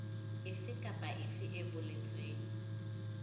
efe kapa efe e boletsweng